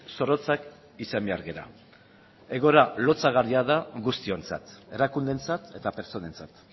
zorrotzak izan behar gara egoera lotsagarria da guztiontzat erakundeentzat eta pertsonentzat